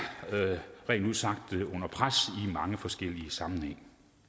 rent ud sagt ud under pres i mange forskellige sammenhænge